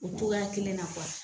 O togoya kelen na